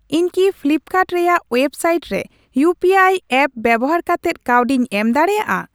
ᱤᱧ ᱠᱤ ᱯᱷᱞᱤᱯᱠᱟᱨᱰ ᱨᱮᱭᱟᱜ ᱣᱮᱵᱥᱟᱭᱤᱴ ᱨᱮ ᱤᱭᱩᱯᱤᱟᱭ ᱮᱯᱯ ᱵᱮᱵᱚᱦᱟᱨ ᱠᱟᱛᱮᱫ ᱠᱟᱹᱣᱰᱤᱧ ᱮᱢ ᱫᱟᱲᱤᱭᱟᱜᱼᱟ ?